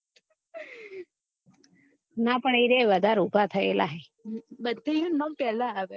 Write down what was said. ના પણ એરેર્યા વધારે ઉભા થયે લા હે બધે યો નું નામ પેહલા આવે